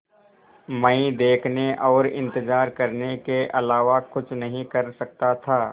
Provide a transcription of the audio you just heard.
मैं देखने और इन्तज़ार करने के अलावा कुछ नहीं कर सकता था